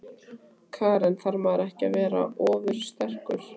Karen: Þarf maður ekki að vera ofursterkur?